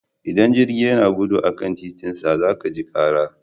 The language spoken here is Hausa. Idan jirgi yana gudu a kan titinsa za ka ji kara.